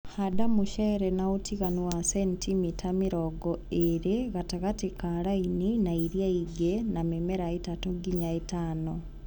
handa mũcere na ũtiganu wa centimita mĩrongo ĩrĩ gatagatĩ ka laini na ĩrĩa ĩngĩ na mĩmera ĩtatũ nginya ĩtano.